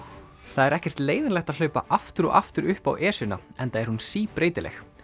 það er ekkert leiðinlegt að hlaupa aftur og aftur upp á Esjuna enda er hún síbreytileg